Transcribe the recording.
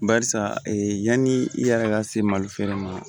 Barisa ee yani i yɛrɛ ka se mali feere ma